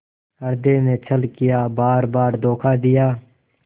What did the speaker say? हृदय ने छल किया बारबार धोखा दिया